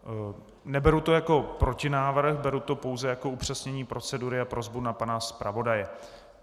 Neberu to jako protinávrh, beru to pouze jako upřesnění procedury a prosbu na pana zpravodaje.